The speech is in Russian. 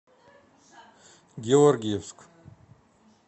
георгиевск